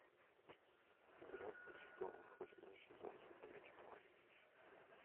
игра престолов восьмой сезон смотреть онлайн